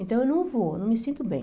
Então eu não vou, não me sinto bem.